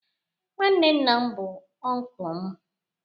Nwanne nna m bu unkụlu m